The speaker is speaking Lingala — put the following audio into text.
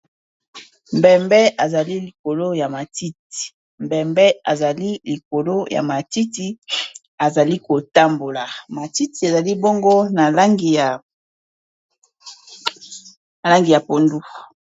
Mbembe azali likolo ya matiti, mbembe ezali likolo ya matiti ezali kotambola matiti ezali bongo na langi ya pondu.